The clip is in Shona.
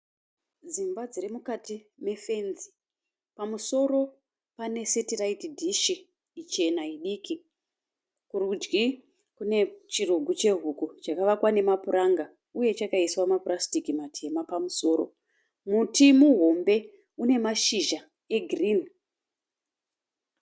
Dzimba dziri mukati mefenzi. Pamusoro pane setiraiti dishi ichena idiki. Kurudyi kune chirugu chehuku chakavakwa nemapuranga uye chakaiswa mapurasitiki matema pamusoro. Muti muhombe une mashizha egirini.